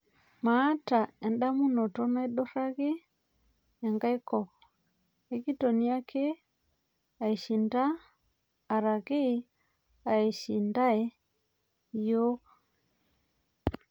Maata endamuunoto naiduraki enkai kop ekitoni ake aishinda araki eishindae yiook